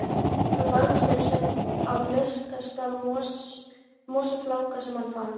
Hann lagðist til svefns á mýksta mosafláka sem hann fann.